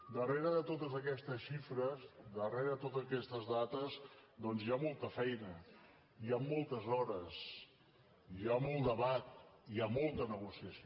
darrere de totes aquestes xifres darrere de totes aquestes dades doncs hi ha molta feina hi han moltes hores hi ha molt debat hi ha molta negociació